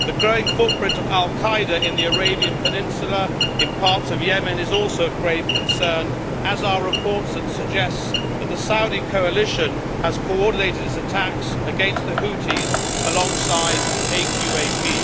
The growing footprint of al Qaeda in the Arabian Peninsula in parts of Yemen is also of grave concern, as are reports that suggest that the Saudi coalition has coordinated its attacks against the Houthis alongside AQAP.